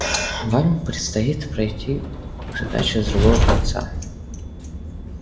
вам предстоит пройти к задаче с другого конца